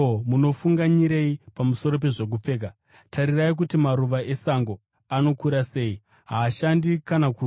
“Ko, munofunganyirei pamusoro pezvokupfeka? Tarirai kuti maruva esango anokura sei? Haashandi kana kuruka.